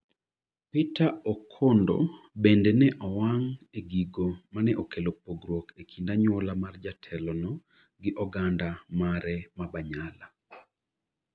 Peter Okondo bende ne owang' e gigo mane okelo pogruok e kind anyuola mar jatelo no gi oganda mare ma Banyala.